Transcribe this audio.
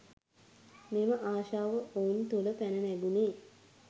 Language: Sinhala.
මෙම ආශාව ඔවුන් තුළ පැන නැගුණේ